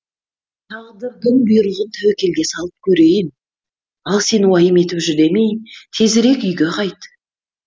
тағдырдың бұйрығын тәуекелге салып көрейін ал сен уайым етіп жүдемей тезірек үйге қайт